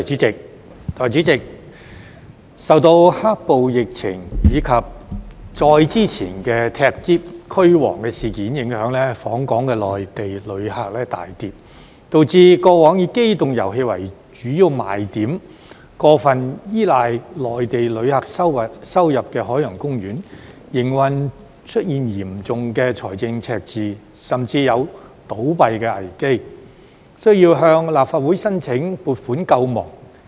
代理主席，受到"黑暴"、疫情，以及再之前的"踢篋"、"驅蝗"事件影響，訪港內地旅客數目大跌，導致過往以機動遊戲為主要賣點、過分依賴內地旅客收入的海洋公園，在營運方面出現嚴重的財政赤字，甚至有倒閉的危機，需要向立法會申請撥款救亡。